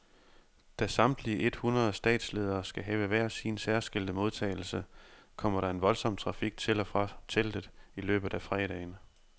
Da samtlige ethundrede statsledere skal have hver sin særskilte modtagelse, kommer der en voldsom trafik til og fra teltet i løbet af fredagen.